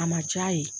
A ma ja ye